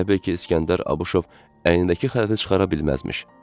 Elə bil ki, İskəndər Abuşov əynindəki xələti çıxara bilməzmiş.